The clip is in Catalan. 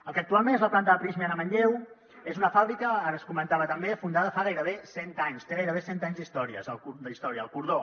el que actualment és la planta de prysmian a manlleu és una fàbrica ara es comentava també fundada fa gairebé cent anys té gairebé cent anys d’història el cordó